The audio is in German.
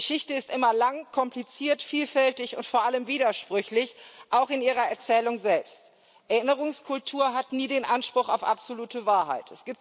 Geschichte ist immer lang, kompliziert, vielfältig und vor allem widersprüchlich, auch in ihrer Erzählung selbst. Erinnerungskultur hat nie den Anspruch auf absolute Wahrheit.